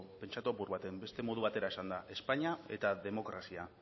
pentsatu apur batean beste modu batera esanda espainia eta demokrazia